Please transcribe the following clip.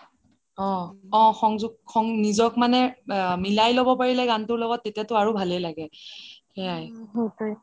অ নিজক মানে মিলাই লব পাৰিলে গান টোৰ লগত তেতিয়া টো আৰু ভাল লাগে সেইয়াই overlap